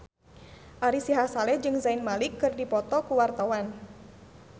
Ari Sihasale jeung Zayn Malik keur dipoto ku wartawan